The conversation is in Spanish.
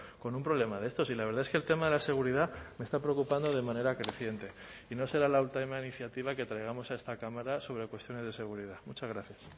con un problema de estos y la verdad es que el tema de la seguridad me está preocupando de manera creciente y no será la última iniciativa que traigamos a esta cámara sobre cuestiones de seguridad muchas gracias